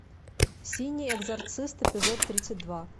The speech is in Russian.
синий экзорцист эпизод тридцать два